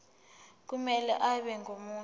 kumele abe ngumuntu